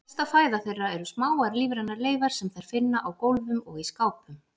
Helsta fæða þeirra eru smáar lífrænar leifar sem þær finna á gólfum og í skápum.